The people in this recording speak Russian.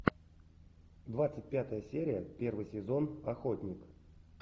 двадцать пятая серия первый сезон охотник